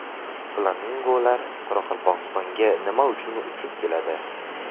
Flamingolar Qoraqalpog‘istonga nima uchun uchib keladi?.